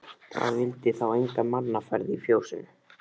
Það vildi þá enga mannaferð í fjósinu.